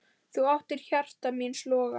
Þú áttir hjarta míns loga.